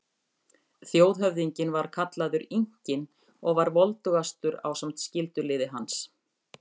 Þjóðhöfðinginn var kallaður Inkinn og var voldugastur ásamt skyldulið hans.